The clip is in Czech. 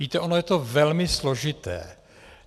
Víte, ono je to velmi složité.